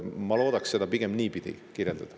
Ma loodaks seda pigem niipidi kirjeldada.